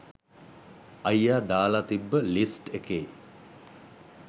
අයියා දාලා තිබ්බ ලිස්ට් එකේ